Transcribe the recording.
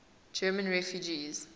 german refugees